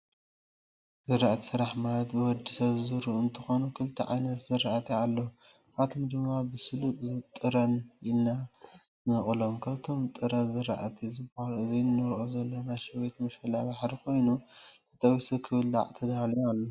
ዝራእቲ ፣ስራሕቲ ማለት ብወዲሰብ ዝዝርኡ እንትኮኑ ክልተ ዓይነት ዝራእቲ ኣለው ካብኣቶም ድማ ብሱለ ጥረን ኢልና ንመቅሎም ።ካብቶም ጥረ ዝራእቲ ዝበሃሉ እዚ እንረኦ ዘለና ሸዊት ምሸላ-ባሕሪ ኮይኑ ተጠቢሱ ክብላዕ ተዳልዩ ኣሎ።